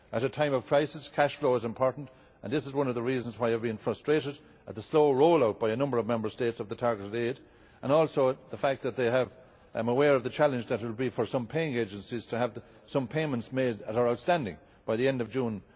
At a time of crisis, cash flow is important, and this is one of the reasons why I have been frustrated at the slow roll out by a number of Member States of the targeted aid, and also the fact that I am aware of the challenge that it will be for some paying agencies to have some payments made that are outstanding by the end of